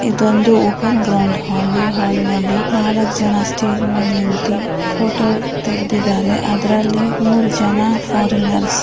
ಇದೊಂದು open grand hall ಈ hall ನಲ್ಲಿ ನಾಲ್ಕು ಜನ ಸ್ಟೇಜ್ ಮೇಲೆ ನಿಂತಿ ಫೋಟೋ ತೆಗೆದಿದ್ದಾರೆ. ಅದ್ರಲ್ಲಿ ಮೂರು ಜನ ಫಾರಿನರ್ಸ್ .